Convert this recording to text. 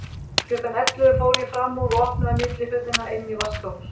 Klukkan ellefu fór ég fram úr og opnaði millihurðina inn í vaskahús.